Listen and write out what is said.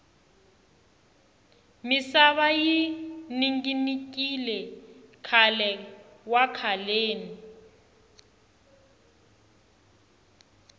misava yi ninginikile khale wa khaleni